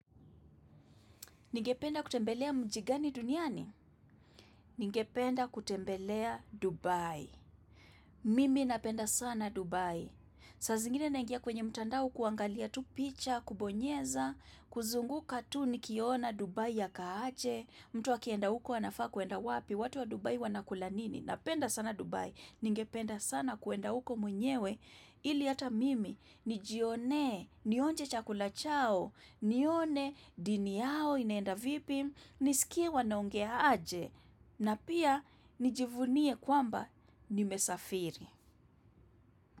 Ningependa kutembelea mji gani duniani? Ningependa kutembelea Dubai. Mimi napenda sana Dubai. Saa zingine naingia kwenye mtandao kuangalia tu picha, kubonyeza, kuzunguka tu ni kiona Dubai ya kaaje, mtu akienda huko anafaa kwenda wapi, watu wa Dubai wanakula nini. Napenda sana Dubai. Ningependa sana kwenda huko mwenyewe ili ata mimi. Nijionee, nionje chakula chao, nione dini yao inenda vipi, nisikie wanaongea aje, na pia nijivunie kwamba nimesafiri.